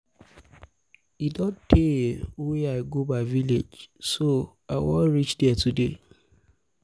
e don tey wey i go my village so i wan reach there today